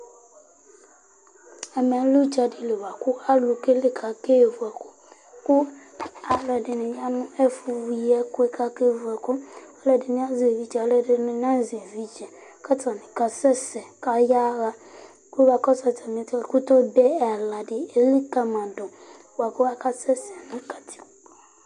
ɛmɛ lɛ udza di li boa kò alo keli k'ake vu ɛkò kò alo ɛdini ya no ɛfu yi ɛkò k'ake vu ɛkò alo ɛdini azɛ evidze alo ɛdini na zɛ evidze k'atani ka sɛ sɛ k'aya ɣa kò moa akɔsu atami ɛto ɛkutɛ obe ɛla di elikali ma do boa kò aka sɛ sɛ no katikpo